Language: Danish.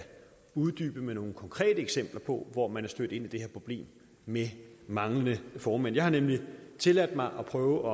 uddybe med nogle konkrete eksempler på hvor man er stødt ind i det her problem med manglende formænd jeg har nemlig tilladt mig at prøve